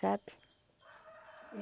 Sabe?